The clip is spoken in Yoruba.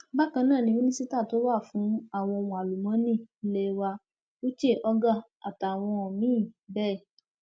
bákan náà ni mínísítà tó wà fún àwọn ohun àlùmọọnì ilé wa uche ogar àtàwọn míín bẹẹ